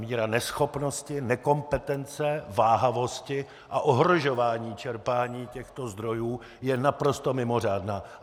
Míra neschopnosti, nekompetence, váhavosti a ohrožování čerpání těchto zdrojů je naprosto mimořádná.